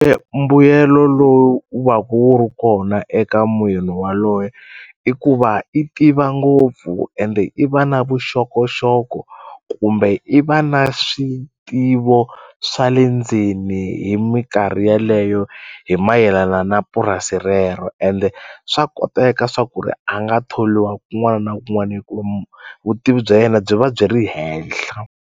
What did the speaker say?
mbuyelo lowu wu va ku wu ri kona eka waloye i ku va i tiva ngopfu ende i va na vuxokoxoko kumbe i va na switivo swa le ndzeni hi minkarhi yeleyo hi mayelana na purasi rero ende swa koteka swa ku ri a nga tholiwa kun'wana na kun'wana hikuva vutivi bya yena byi va byi ri henhla.